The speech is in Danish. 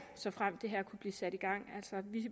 såfremt det her kunne blive sat i gang